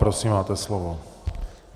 Prosím, máte slovo.